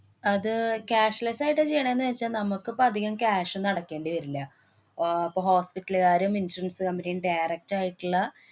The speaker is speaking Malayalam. അത് cashless ആയിട്ടാ ചെയ്യണേന്ന് വച്ചാ മുക്കിപ്പം അധികം cash ഒന്നും അടയ്ക്കേണ്ടി വരില്ല. ആഹ് അപ്പൊ hospital കാരും, insurance company യും direct ആയിട്ടുള്ള